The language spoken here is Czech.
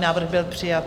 Návrh byl přijat.